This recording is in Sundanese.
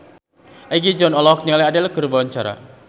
Egi John olohok ningali Adele keur diwawancara